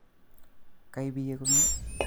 Koibiye komie